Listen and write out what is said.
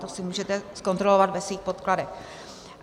To si můžete zkontrolovat ve svých podkladech.